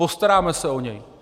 Postaráme se o něj.